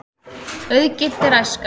Auðginnt er æskan.